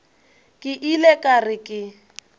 ke ile ka re ke